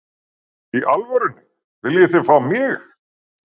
Í alvörunni, viljið þið fá mig?